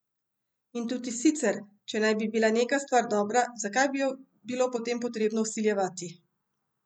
In tudi sicer, če naj bi bila neka stvar dobra, zakaj bi jo bilo potem potrebno vsiljevati?